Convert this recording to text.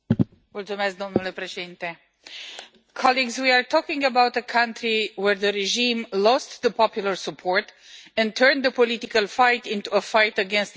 Mr President, we are talking about a country where the regime lost the popular support and turned the political fight into a fight against its people.